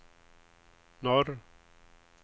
norr